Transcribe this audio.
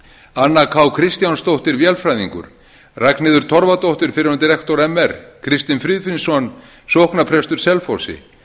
anna k kristjánsdóttir vélfræðingur ragnheiður torfadóttir fyrrverandi rektor mr kristinn friðfinnsson sóknarprestur selfossi